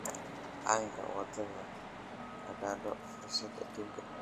aan ka wada qaadano fursad aduunka